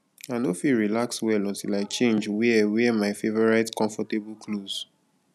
i no fit relax well until i change wear wear my favorite comfortable clothes